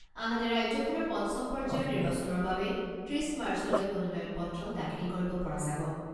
আনহাতে ৰাজ্যখনৰ পঞ্চম পৰ্যায়ৰ নিৰ্বাচনৰ বাবে ত্ৰিছ মাৰ্চলৈ মনোনয়ন পত্ৰ দাখিল কৰিব পৰা যাব।